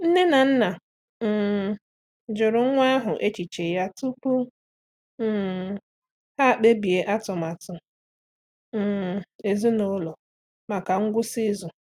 Nne na nna um jụrụ nwa ahụ echiche ya tupu um ha ekpebie atụmatụ um ezinụlọ maka ngwụsị izu.